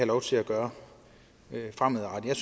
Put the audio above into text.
lov til at gøre det fremadrettet jeg